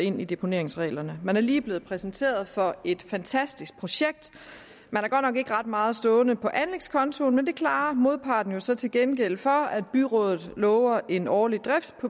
ind i deponeringsreglerne man er lige blevet præsenteret for et fantastisk projekt man har godt nok ikke ret meget stående på anlægskontoen men det klarer modparten jo så til gengæld for at byrådet lover en årlig